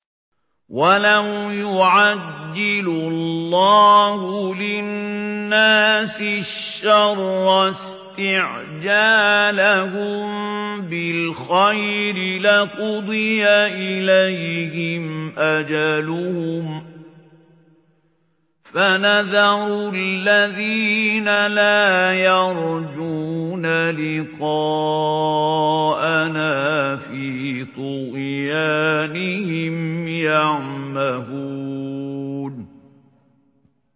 ۞ وَلَوْ يُعَجِّلُ اللَّهُ لِلنَّاسِ الشَّرَّ اسْتِعْجَالَهُم بِالْخَيْرِ لَقُضِيَ إِلَيْهِمْ أَجَلُهُمْ ۖ فَنَذَرُ الَّذِينَ لَا يَرْجُونَ لِقَاءَنَا فِي طُغْيَانِهِمْ يَعْمَهُونَ